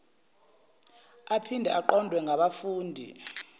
aphinde aqondwe ngabafundi